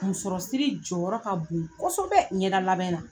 Musɔrɔ siri jɔyɔrɔ ka bon kɔsɔbɛ ɲɛda labɛn na!